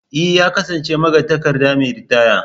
E! ya kasance magatakarda mai ritaya.